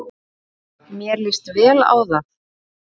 Mér lýst vel á það.